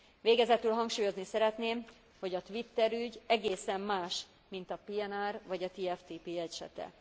Végezetül hangsúlyozni szeretném, hogy a Twitter ügy egészen más, mint a PNR vagy a TFTP esete.